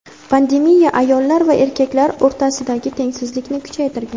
Pandemiya ayollar va erkaklar o‘rtasidagi tengsizlikni kuchaytirgan.